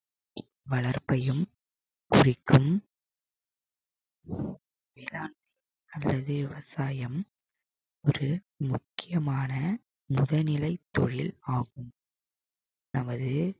வளர்ப்பையும் குறிக்கும் இதான் அதாவது விவசாயம் ஒரு முக்கியமான முதல் நிலை தொழில் ஆகும் நமது